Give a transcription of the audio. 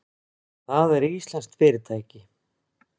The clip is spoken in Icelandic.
Það er íslenskt fyrirtæki.